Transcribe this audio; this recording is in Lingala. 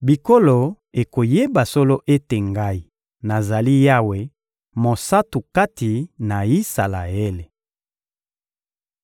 bikolo ekoyeba solo ete Ngai, nazali Yawe, Mosantu kati na Isalaele.